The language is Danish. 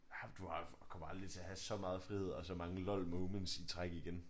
Ja men du har kommer aldrig til at have så meget frihed og så mange lol moments i træk igen